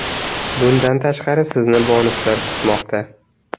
Bundan tashqari, sizni bonuslar kutmoqda!